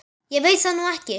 Ég veit það nú ekki.